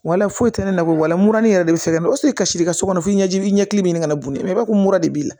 Wala foyi tɛ ne na ko walahi ne yɛrɛ de bɛ fɛ ka kasi i ka so kɔnɔ fo i ɲɛji i ɲɛ k'i ɲininka mun na i b'a fɔ ko mura de b'i la